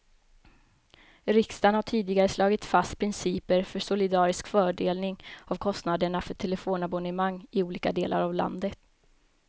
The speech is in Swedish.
Riksdagen har tidigare slagit fast principer för solidarisk fördelning av kostnaderna för telefonabonnemang i olika delar av landet.